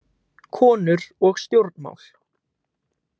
Konur og stjórnmál.